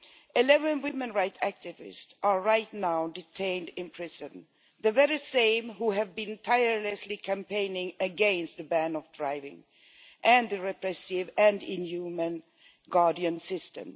11 women's rights activists are right now detained in prison the very same who have been tirelessly campaigning against a ban on driving and the repressive and inhuman guardian system.